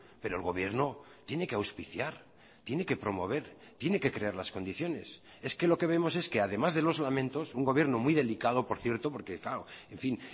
pero el gobierno tiene que auspiciar tiene que promover tiene que crear las condiciones es que lo que vemos es que además de los lamentos un gobierno muy delicado por cierto porque claro en fin